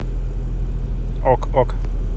ок ок